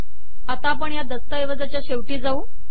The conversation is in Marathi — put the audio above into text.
आता आपण या दस्तऐवजाचे शेवटी जाऊ